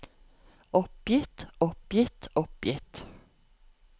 oppgitt oppgitt oppgitt